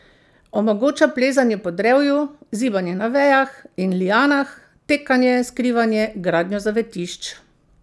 Omogoča plezanje po drevju, zibanje na vejah in lianah, tekanje, skrivanje, gradnjo zavetišč.